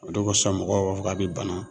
O de ko sɔn mɔgɔw b'a fɔ k'a be bana